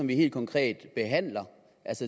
vi helt konkret behandler